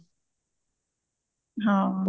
ਹਾਂ